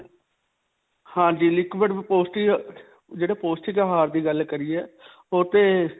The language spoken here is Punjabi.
ਹਾਂਜੀ. liquid ਪੌਸ਼ਟਿਕ ਜਿਹੜੇ ਪੌਸ਼ਟਿਕ ਆਹਾਰ ਦੀ ਗੱਲ ਕਰਿਏ ਓਹ ਤੇ.